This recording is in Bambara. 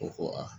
O ko a